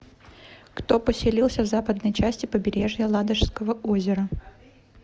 кто поселился в западной части побережья ладожского озера